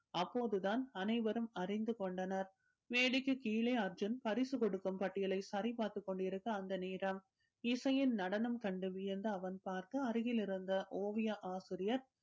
அப்போது தான் அனைவரும் அறிந்து கொண்டனர் மேடைக்கு கீழே அர்ஜுன் பரிசு கொடுக்கும் பட்டியலை சரி பார்த்துக் கொண்டிருக்க அந்த நேரம் இசையின் நடனம் கண்டு வியந்து அவன் பார்க்க அருகில் இருந்த ஓவிய ஆசிரியர்